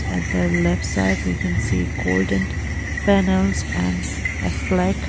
at the left side we can see golden panels and a flag.